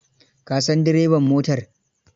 Ka san direban motar?